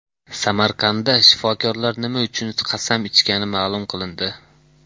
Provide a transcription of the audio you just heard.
Samarqandda shifokorlar nima uchun qasam ichgani ma’lum qilindi.